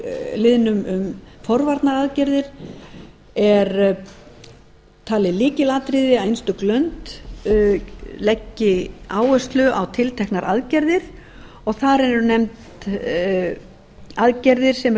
liðnum um forvarnaraðgerðir er talið lykilatriði að einstök lönd leggi áherslu á tilteknar aðgerðir og þar eru nefndar aðgerðir sem eru